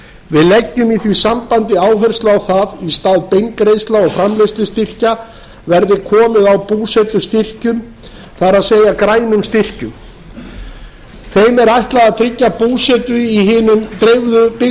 við leggjum í því sambandi áherslu á það að í stað beingreiðslna og framleiðslustyrkja verði komið á búsetustyrkjum það er grænum styrkjum þeim er ætlað að tryggja búsetu í hinum dreifðu byggðum